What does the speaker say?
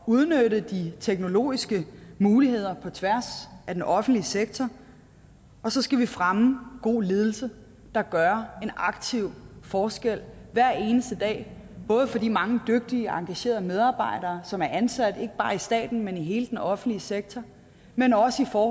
udnytte de teknologiske muligheder på tværs af den offentlige sektor og så skal vi fremme god ledelse der gør en aktiv forskel hver eneste dag både for de mange dygtige engagerede medarbejdere som er ansat ikke bare i staten men i hele den offentlige sektor men også for